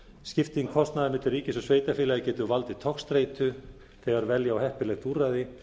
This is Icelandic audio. skipting kostnaðar milli ríkis og sveitarfélaga getur valdið togstreitu þegar velja á heppilegt úrræði